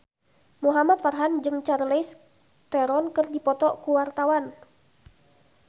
Muhamad Farhan jeung Charlize Theron keur dipoto ku wartawan